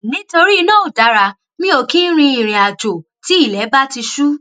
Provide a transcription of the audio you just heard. nítorí iná ò dára mi ò kì í rin ìrìnàjò tí ilè bá ti ṣú